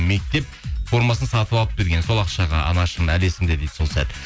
мектеп формасын сатып алып берген сол ақшаға анашым әлі есімде дейді сол сәт